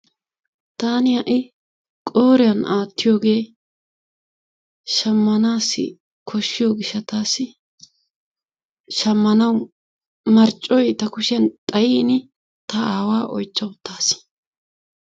Taani ha'i qooriyan aatiyoge shammanaassi koshiyo gishaassi shamanawu marccoy ta kushiyan xayini ta aawaa oychcha utaasi.